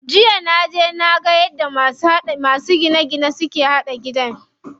Jiya naje naga yadda masu gine gine suke haɗa gida.